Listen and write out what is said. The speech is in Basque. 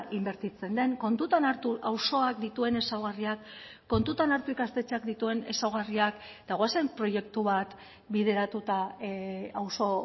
inbertitzen den kontutan hartu auzoak dituen ezaugarriak kontutan hartu ikastetxeak dituen ezaugarriak eta goazen proiektu bat bideratuta auzo